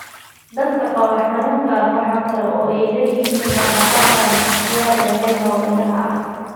Dadka qaba xanuunkan xanuunkan waxa kale oo ay leeyihiin dhaq-dhaqaaq aan ikhtiyaari ahayn oo indhaha ah, oo loo yaqaan nystagmus.